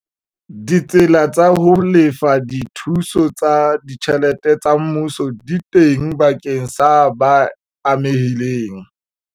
Ditsela tsa ho lefa dithuso tsa ditjhelete tsa mmuso di teng bakeng sa ba amehileng.